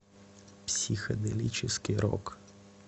психоделический рок